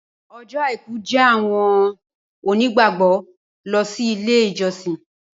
Ọjọ́ aìkú jẹ ní awọn onígbàgbọ lọ si ile ijọsin.